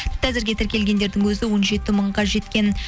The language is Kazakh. әзірге тіркелгендердің өзі он жеті мыңға жеткен